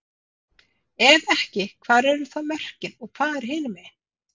Ef ekki, hvar eru þá mörkin og hvað er hinumegin?